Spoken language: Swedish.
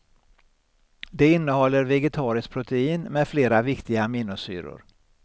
Det innehåller vegetariskt protein med flera viktiga aminosyror.